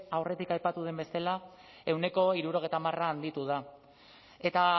aurretik aipatu den bezala ehuneko hirurogeita hamar handitu da eta